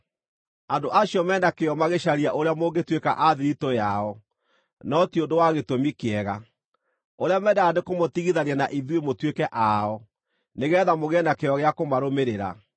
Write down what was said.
Andũ acio me na kĩyo magĩcaria ũrĩa mũngĩtuĩka a thiritũ yao, no ti ũndũ wa gĩtũmi kĩega. Ũrĩa mendaga nĩ kũmũtigithania na ithuĩ mũtuĩke ao, nĩgeetha mũgĩe na kĩyo gĩa kũmarũmĩrĩra.